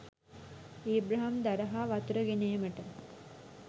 Abraham දර හා වතුර ගෙන ඒමට